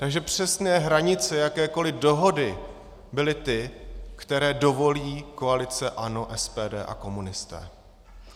Takže přesné hranice jakékoli dohody byly ty, které dovolí koalice ANO, SPD a komunisté.